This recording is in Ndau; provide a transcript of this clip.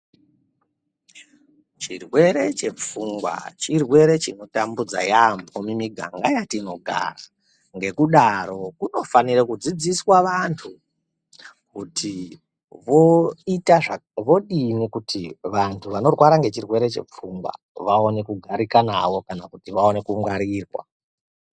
Chirwere chepfungwa chirwere chinotambudza yaamho mumiganga yatinogara. Ngokudaro kunofanire kudzidziswa vantu ,kuti voita zva vodini kuti vantu vanorwara ngechirwere chepfungwa vaone kugarika navo, kana kuti vaone kungwarirwa.